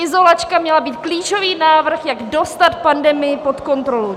Izolačka měla být klíčový návrh, jak dostat pandemii pod kontrolu.